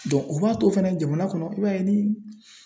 o b'a to fɛnɛ jamana kɔnɔ i b'a ye ni